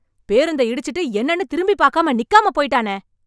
பேருந்தை இடிச்சுட்டு, என்னன்னு திரும்பிப் பாக்காம, நிக்காம போய்ட்டானே...